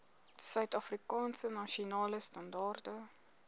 suidafrikaanse nasionale standaarde